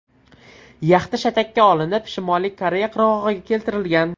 Yaxta shatakka olinib, Shimoliy Koreya qirg‘og‘iga keltirilgan.